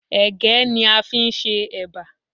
Ẹ̀gẹ́ ni a fi ń ṣe éba.